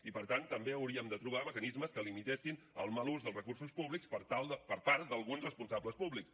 i per tant també hauríem de trobar mecanismes que limitessin el mal ús dels recursos públics per part d’alguns responsables públics